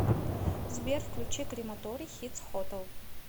сбер включи крематорий хитс хотел